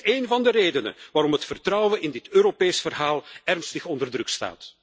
En het is een van de redenen waarom het vertrouwen in dit Europese verhaal ernstig onder druk staat.